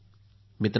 मित्रांनो